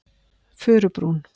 Furubrún